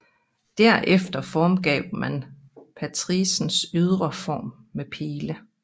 Derefter formgav man patricens ydre form med file